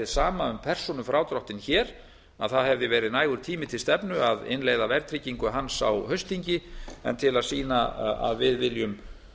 um persónufrádráttinn hér það hefði verið nægur tími til stefnu að innleiða verðtryggingu hans á haustþingi en til að sýna að við viljum